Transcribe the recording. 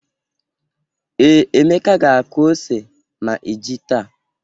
Ee, Emeka ga-akụ ose ma iji táá.